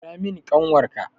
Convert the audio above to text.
Kira mun ƙanwar ka!